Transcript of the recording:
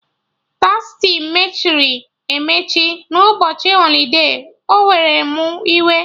Tastii mechiri emechi na ụbọchị holide, o were mụ iwe